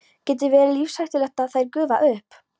Getur verið lífshættulegt ef þær gufa upp.